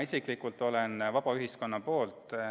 Mina isiklikult olen vaba ühiskonna poolt.